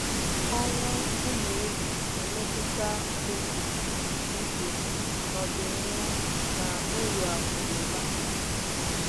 Ọnwụ ụmụ ehi na-emetụta oke ìgwè n’ọdịnihu na uru akụ na ụba.